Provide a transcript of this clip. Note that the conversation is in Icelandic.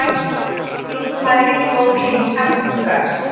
Úlfrún, hvað er lengi opið í Samkaup Strax?